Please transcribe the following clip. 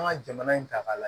An ka jamana in ta k'a la